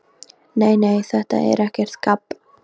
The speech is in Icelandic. Nei, nei, þetta er ekkert gabb.